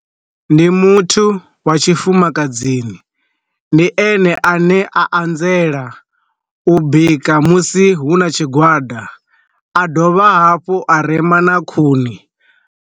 Ndi muthu wa tshifumakadzini, ndi ene a ne a anzela u bika musi hu na tshigwada a dovha hafhu a rema na khuni.